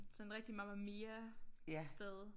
Sådan rigtig Mamma Mia sted